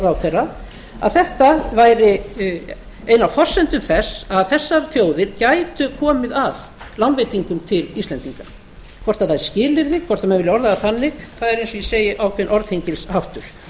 ráðherra að þetta væri ein af forsendum þess að þessar þjóðir gætu komið að lánveitingum til íslendinga hvort það er skilyrði hvort menn vilja orða það þannig það er eins og ég segi ákveðinn orðhengilsháttur